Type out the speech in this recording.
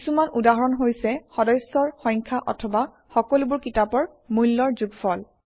কিছুমান উদাহৰণ হৈছে সদস্যৰ সংখ্যা অথবা সকলোবোৰ কিতাপৰ মূল্যৰ যোগফল